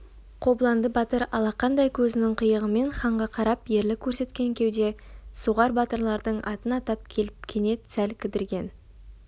қобыланды батыр алақандай көзінің қиығымен ханға қарап ерлік көрсеткен кеуде соғар батырлардың атын атап келіп кенет сәл кідірген